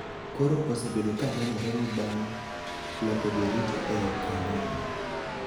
Koro osebedo ka nenore ni bang� loko jorit e kanyo,